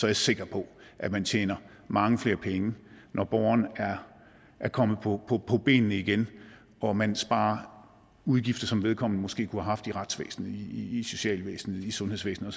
jeg sikker på at man tjener mange flere penge når borgeren er kommet på benene igen og man sparer udgifter som vedkommende måske kunne have haft i retsvæsenet i i socialvæsenet i sundhedsvæsenet